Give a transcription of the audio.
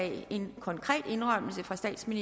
selv